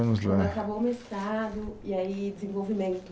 Vamos lá...Quando acabou o mestrado e aí desenvolvimento.